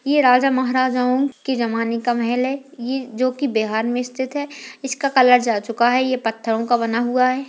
यह राजा महारजाओं के जामने का महल है ये जोकि बिहार में स्थित है इसका कलर जा चुका है ये पत्थरों का बना हुआ है।